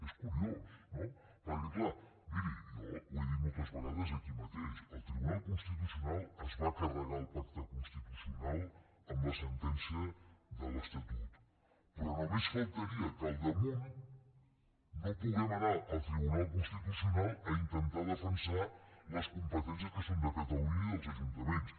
és curiós no perquè clar miri jo ho he dit moltes vegades aquí mateix el tribunal constitucional es va carregar el pacte constitucional amb la sentència de l’estatut però només faltaria que al damunt no puguem anar al tribunal constitucional a intentar defensar les competències que són de catalunya i dels ajuntaments